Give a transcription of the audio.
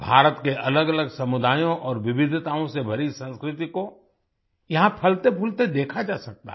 भारत के अलगअलग समुदायों और विविधताओं से भरी संस्कृति को यहाँ फलतेफूलते देखा जा सकता है